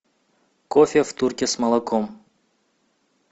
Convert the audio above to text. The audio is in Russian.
кофе в турке с молоком